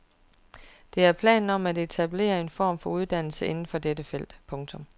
Der er planer om at etablere en form for uddannelse inden for dette felt. punktum